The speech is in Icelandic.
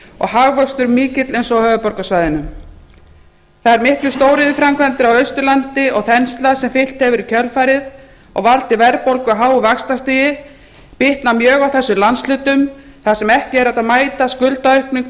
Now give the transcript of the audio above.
hagvöxtur mikill eins og á höfuðborgarsvæðinu þær miklu stóriðjuframkvæmdir á austurlandi og þensla sem fylgt hefur í kjölfarið og valdið verðbólgu og háu vaxtastigi bitnar mjög á þessum landshlutum þar sem ekki er hægt að mæta skuldaaukningu